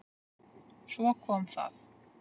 Svo kom það.